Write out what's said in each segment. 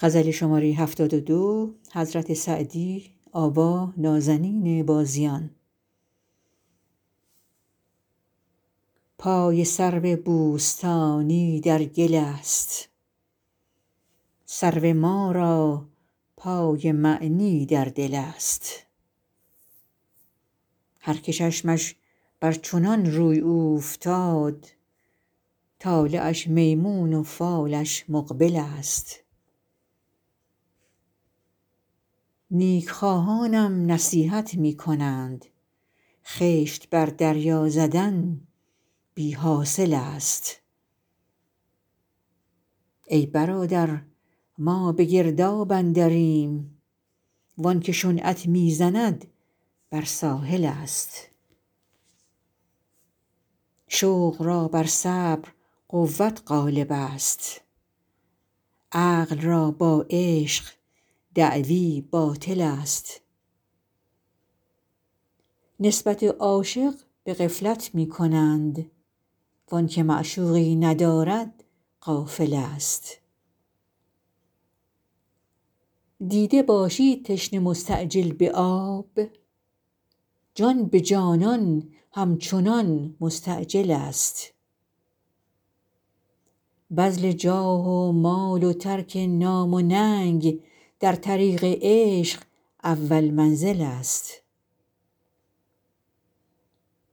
پای سرو بوستانی در گل است سرو ما را پای معنی در دل است هر که چشمش بر چنان روی اوفتاد طالعش میمون و فالش مقبل است نیک خواهانم نصیحت می کنند خشت بر دریا زدن بی حاصل است ای برادر ما به گرداب اندریم وان که شنعت می زند بر ساحل است شوق را بر صبر قوت غالب است عقل را با عشق دعوی باطل است نسبت عاشق به غفلت می کنند وآن که معشوقی ندارد غافل است دیده باشی تشنه مستعجل به آب جان به جانان همچنان مستعجل است بذل جاه و مال و ترک نام و ننگ در طریق عشق اول منزل است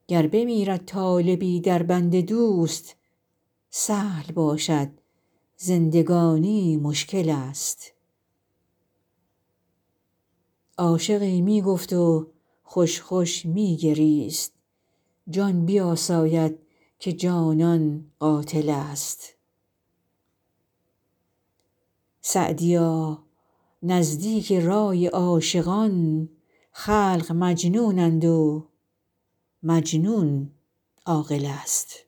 گر بمیرد طالبی در بند دوست سهل باشد زندگانی مشکل است عاشقی می گفت و خوش خوش می گریست جان بیاساید که جانان قاتل است سعدیا نزدیک رای عاشقان خلق مجنونند و مجنون عاقل است